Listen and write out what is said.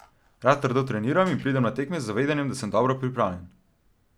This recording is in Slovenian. Rad trdo treniram in pridem na tekme z zavedanjem, da sem dobro pripravljen.